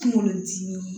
Kungolo dimi